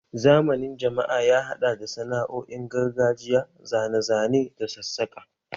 Zamanin jama'a ya haɗa da sana'o'in gargajiya, zane-zane da sassaƙa